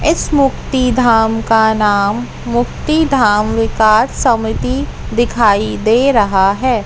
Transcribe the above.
इस मुक्ति धाम का नाम मुक्ति धाम विकास समिति दिखाई दे रहा है।